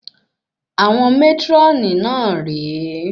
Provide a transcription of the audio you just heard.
Àwọn mátrónì náà rè é